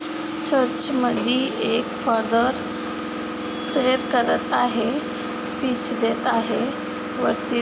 Church मध्ये एक father prayer करत आहे स्पीच देत आहे. वरती--